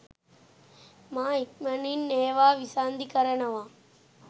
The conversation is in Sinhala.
මා ඉක්මනින් ඒවා විසන්ධි කරනවා